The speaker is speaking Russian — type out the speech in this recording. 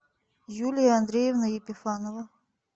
юлия андреевна епифанова